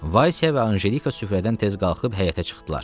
Valsya və Anjelika süfrədən tez qalxıb həyətə çıxdılar.